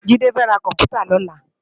JIde fè rá kòmpútâ lòlá